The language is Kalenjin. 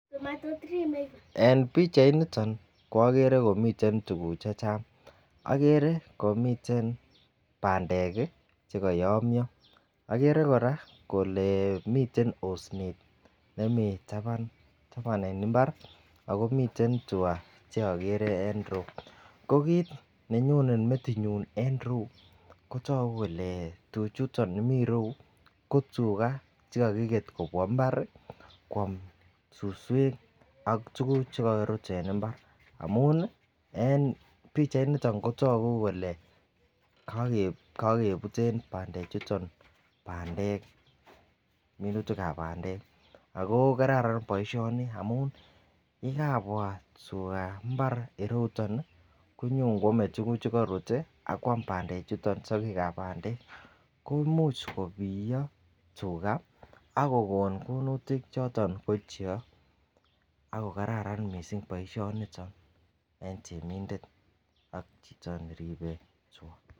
En pichainiton okere komiten tukuk chechang oker komiten pandek kii chekoyomyo, oker Koraa kole miten osnet nemii taban taban en imbar ako miten twaa cheokere en irou, ko kit nenyone metinyun en irou ko toku kele tuchuton miten irou ko tugaa chekokiket kobwa imbar kwam suswek ak tukuk chekorut en imbar amunii en pichainiton kotoku kole Kon kebute pandek chuton pandek minutikab pandek ako kararan boishoni amun yekabwa twaa imbar ireyuton nii konyon kwome tukuk chekorut tii akwam pandek chuton sokekab pandek ko imuch kobiyo tugaa ak kokon koinutik choton ko choo ako kararan missing boishoniton en temindet ak chito neribe twa.